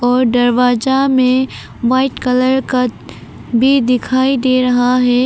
और दरवाजा में वाइट कलर का भी दिखाई दे रहा है।